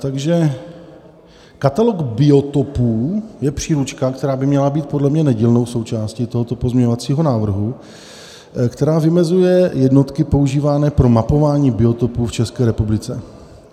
Takže: "Katalog biotopů je příručka" - která by měla být podle mě nedílnou součástí tohoto pozměňovacího návrhu - "která vymezuje jednotky používané pro mapování biotopů v České republice.